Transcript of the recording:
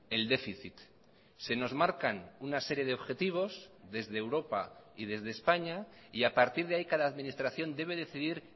el déficit se nos marcan una serie de objetivos desde europa y desde españa y a partir de ahí cada administración debe decidir